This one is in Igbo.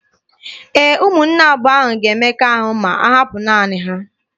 Ee, ụmụnne abụọ ahụ ga-eme mmekọahụ ma ahapụ naanị ha.